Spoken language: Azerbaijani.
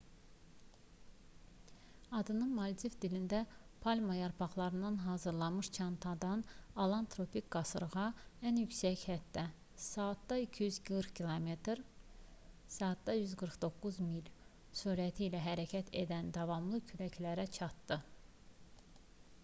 adını maldiv dilində palma yarpaqlarından hazırlanmış çantadan alan tropik qasırğa ən yüksək həddə saatda 240 km saatda 149 mil sürəti ilə hərəkət edən davamlı küləklərə çatdı